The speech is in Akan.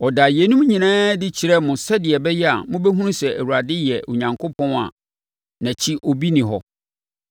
Ɔdaa yeinom nyinaa adi kyerɛɛ mo sɛdeɛ ɛbɛyɛ a mobɛhunu sɛ Awurade yɛ Onyankopɔn a nʼakyi obi nni hɔ.